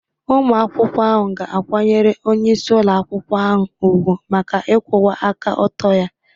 Ụmụ akwụkwọ ahụ ga-akwanyere onyeisi ụlọ akwụkwọ ahụ ùgwù maka ịkwụwa aka ọtọ ya